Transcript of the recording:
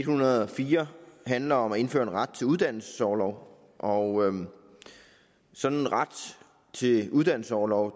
hundrede og fire handler om at indføre en ret til uddannelsesorlov og sådan en ret til uddannelsesorlov